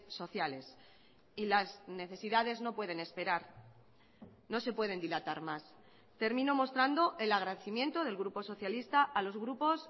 sociales y las necesidades no pueden esperar no se pueden dilatar más termino mostrando el agradecimiento del grupo socialista a los grupos